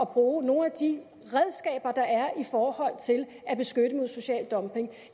bruge nogle af de redskaber der er i forhold til at beskytte mod social dumping